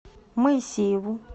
моисееву